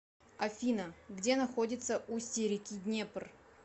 афина где находится устье реки днепр